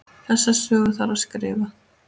Þessa sögu þarf að skrifa.